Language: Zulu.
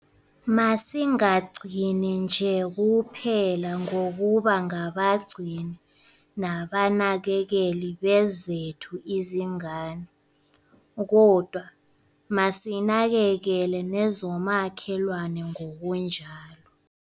Masingagcini nje kuphela ngokuba ngabagcini nabanakekeli bezethu izingane kodwa masinakekele nezomakhelwane ngokunjalo.